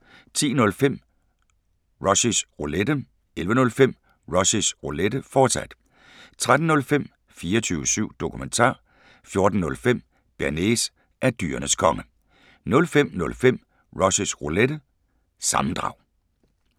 10:05: Rushys Roulette 11:05: Rushys Roulette, fortsat 13:05: 24syv Dokumentar 14:05: Bearnaise er Dyrenes Konge 05:05: Rushys Roulette – sammendrag